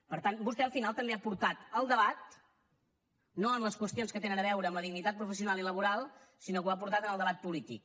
per tant vostè al final també ha portat el debat no en les qüestions que tenen a veure amb la dignitat professional i laboral sinó que ho ha portat en el debat polític